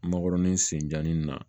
Makɔrɔni sen jannin na